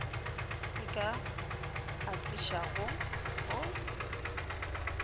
e ka a tlišago go